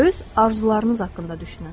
Öz arzularınız haqqında düşünün.